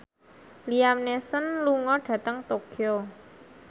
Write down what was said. Liam Neeson lunga dhateng Tokyo